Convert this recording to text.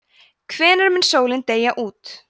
hvenær mun sólin deyja út